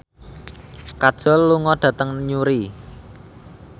Kajol lunga dhateng Newry